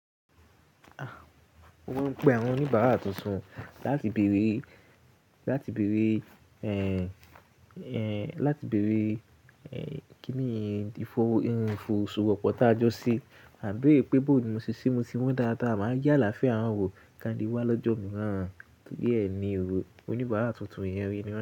Mọ́n ń pe àwọn oníbàárà tuntun láti béèrè, láti béèrè, ẹ́ẹ́, láti béèrè, ẹ́ẹ́, kíni ìfowó, ee, ìfowó ṣòwò pọ tá jọ se, àbí i pé bó ní mo ṣe ṣe, se mo se wón dáadáa, màá ye àlàáfíà wọn wo, kan le wá lọ́jọ́ imìíràn. Bẹ́ẹ̀ni ò, oníbàárà tuntun yẹn rí ni maa n.